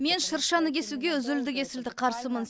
мен шыршаны кесуге үзілді кесілді қарсымын